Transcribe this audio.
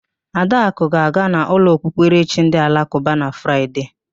Adakụ ga-aga n'ụlọ okpukperechi ndị alakụba na Fraịde